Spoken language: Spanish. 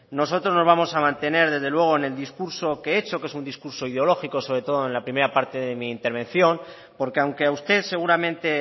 nosotros nos vamos a mantener desde luego en el discurso que he hecho que es un discurso ideológico sobre todo en la primera parte de mi intervención porque aunque a usted seguramente